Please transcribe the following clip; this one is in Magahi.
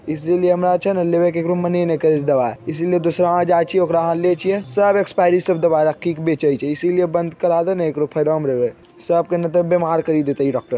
इसीलिए हमरा छै ने लेवे के मने ने करे छै ककरो दवा इसीलिए दूसरा यहां जाय छिये ओकरा अहां लेय छिये दवा सब एक्सपायरी सब दवा रख के बेचे छै इसीलिए बंद करा देय ने एकरो फायदा में रहबे सब के ने ते बीमार केर देते इ डॉक्टर ।